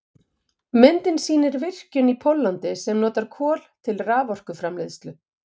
Myndin sýnir virkjun í Póllandi sem notar kol til raforkuframleiðslu.